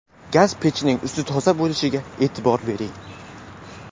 Gaz pechining usti toza bo‘lishiga e’tibor bering.